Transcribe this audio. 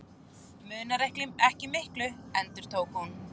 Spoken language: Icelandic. Munar ekki miklu., endurtók hún.